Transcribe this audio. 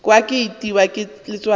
kwa ke itiwa ke letswalo